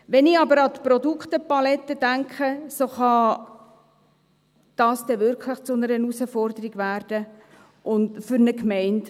Wenn ich aber an die Produktepalette denke, kann das wirklich zu einer Herausforderung werden für eine Gemeinde.